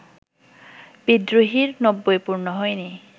‘বিদ্রোহী’র নব্বই পূর্ণ হয়নি